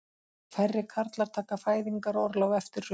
Færri karlar taka fæðingarorlof eftir hrun